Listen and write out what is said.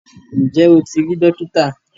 Ǹjẹ́ o ti rí Dókítà?